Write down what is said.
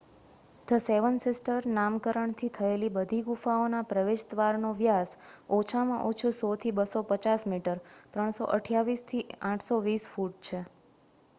"""The seven sisters" નામકરણ થયેલી બધી ગુફાઓના પ્રવેશદ્વારનો વ્યાસ ઓછામાં ઓછો 100થી 250 મીટર 328 થી 820 ફૂટ છે.